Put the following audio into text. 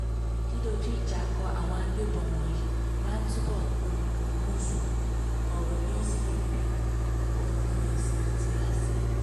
dídójú ìjà kó àwọn agbébọn wọ̀nyí máa túbọ̀ polúkúrúmuṣu ọ̀rọ̀ ni ó sì lè bi ogún ẹ̀sìn àti ẹ̀yà sílẹ̀